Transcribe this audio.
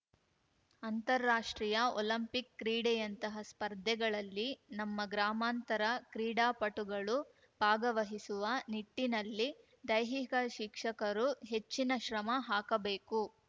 ಅಂತಾರಾಷ್ಟ್ರೀಯ ಒಲಿಂಪಿಕ್‌ ಕ್ರೀಡೆಯಂತಹ ಸ್ಪರ್ಧೆಗಳಲ್ಲಿ ನಮ್ಮ ಗ್ರಾಮಾಂತರ ಕ್ರೀಡಾಪಟುಗಳು ಭಾಗವಹಿಸುವ ನಿಟ್ಟಿನಲ್ಲಿ ದೈಹಿಕ ಶಿಕ್ಷಕರು ಹೆಚ್ಚಿನ ಶ್ರಮ ಹಾಕಬೇಕು